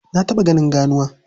Na taɓa ganin ganuwa.